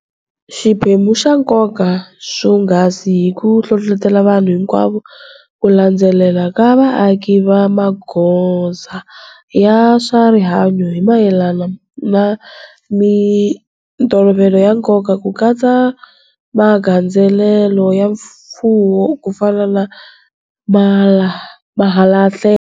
Xiphemu xa nkoka swonghasi hi ku hlohlotela vanhu hinkwavo ku landzelela ka vaaki va magoza ya swa rihanyu hi mayelana na mitolovelo ya nkoka ku katsa na magandzelelo ya mfuwo kufana na malahlelo.